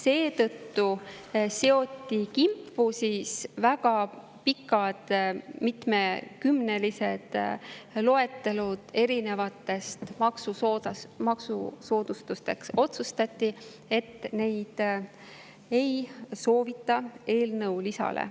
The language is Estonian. Seetõttu seoti kimpu väga pikad, mitmekümnelised loetelud erinevatest maksusoodustustest ja otsustati, et neid ei panda eelnõu lisasse.